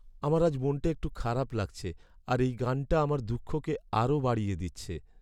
আমার আজ মনটা একটু খারাপ লাগছে আর এই গানটা আমার দুঃখকে আরও বাড়িয়ে দিচ্ছে।